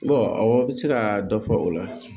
awɔ se ka dɔ fɔ o la